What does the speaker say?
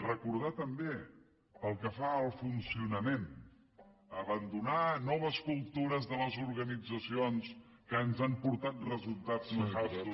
recordar també pel que fa al funcionament abandonar noves cultures de les organitzacions que ens han portat resultats nefastos